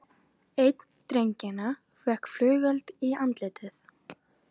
Einn drengjanna fékk flugeld í andlitið